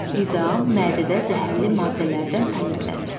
Qida mədədə zəhərli maddələrdən təmizlənir.